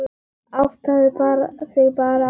Áttaðu þig bara á því.